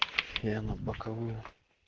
я на боковую